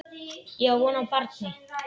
Ég á von á barni.